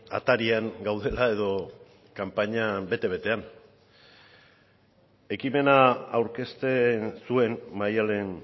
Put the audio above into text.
atarian gaudela edo kanpaina bete betean ekimena aurkezten zuen maddalen